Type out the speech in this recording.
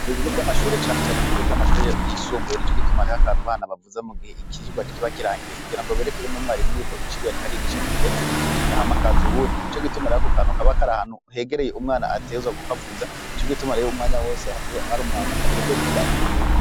Ku bibigo vy'amashuri canecane ku bigo vy'amashuri yisumbuye ni co gitumareho akantu bana bavuza mu gihe ikijwa kiba kirangiye kugira ngo berekewe n'umwarimu yuko icirwe arikarigisha giheze ahamakaza uwundi ni co gituma rha ko kanu kabakari ahantu hegereye umwana atezwa, kuko avuza ni co gitumareho umwanya wose hai ari umwana ajejwe kubuza akukuma.